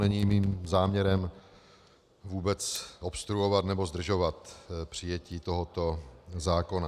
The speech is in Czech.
Není mým záměrem vůbec obstruovat nebo zdržovat přijetí tohoto zákona.